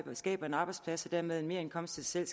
skaber en arbejdsplads og dermed en merindkomst til sig